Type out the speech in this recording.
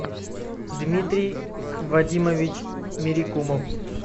дмитрий вадимович мерикумов